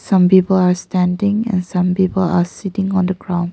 Some people are standing and some people sitting on the ground.